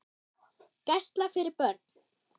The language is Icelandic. Gæsla fyrir börn.